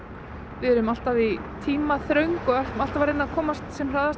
við erum alltaf í tímaþröng og ætlum alltaf að reyna að komast sem hraðast á